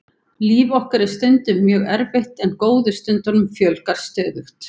Líf okkar er stundum mjög erfitt en góðu stundunum fjölgar stöðugt.